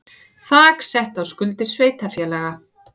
Þak sett á skuldir sveitarfélaga